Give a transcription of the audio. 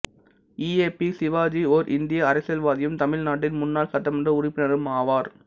E A P Shivaji ஓர் இந்திய அரசியல்வாதியும் தமிழ்நாட்டின் முன்னாள் சட்டமன்ற உறுப்பினரும் ஆவார்